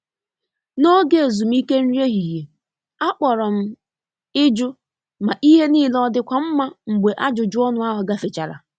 N'oge ezumike nri ehihie, akpọrọ m i jụ ma ihe nile ọ dị kwa mma mgbe ajụjụ ọnụ ahụ gafechara.